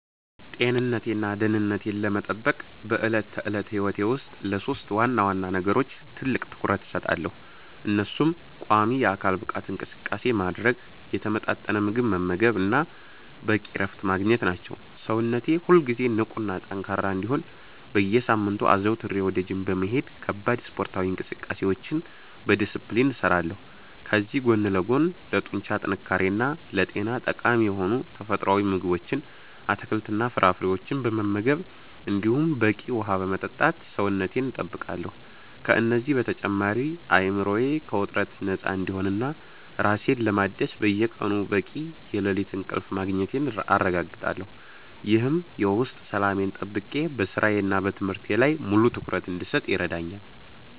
ጤንነቴንና ደህንነቴን ለመጠበቅ በዕለት ተዕለት ሕይወቴ ውስጥ ለሦስት ዋና ዋና ነገሮች ትልቅ ትኩረት እሰጣለሁ፤ እነሱም ቋሚ የአካል ብቃት እንቅስቃሴ ማድረግ፣ የተመጣጠነ ምግብ መመገብ እና በቂ እረፍት ማግኘት ናቸው። ሰውነቴ ሁልጊዜ ንቁና ጠንካራ እንዲሆን በየሳምንቱ አዘውትሬ ወደ ጂም በመሄድ ከባድ ስፖርታዊ እንቅስቃሴዎችን በዲስፕሊን እሰራለሁ፤ ከዚህ ጎን ለጎንም ለጡንቻ ጥንካሬና ለጤና ጠቃሚ የሆኑ ተፈጥሯዊ ምግቦችን፣ አትክልትና ፍራፍሬዎችን በመመገብ እንዲሁም በቂ ውሃ በመጠጣት ሰውነቴን እጠብቃለሁ። ከእነዚህ በተጨማሪ አእምሮዬ ከውጥረት ነፃ እንዲሆንና ራሴን ለማደስ በየቀኑ በቂ የሌሊት እንቅልፍ ማግኘቴን አረጋግጣለሁ፤ ይህም የውስጥ ሰላሜን ጠብቄ በሥራዬና በትምህርቴ ላይ ሙሉ ትኩረት እንድሰጥ ይረዳኛል።